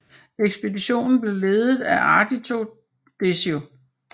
Ekspeditionen blev ledet af Ardito Desio